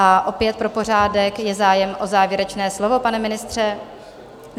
A opět pro pořádek: Je zájem o závěrečné slovo, pane ministře?